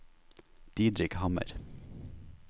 Didrik Hammer